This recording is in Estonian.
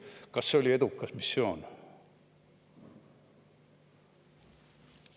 Kas see oli edukas missioon?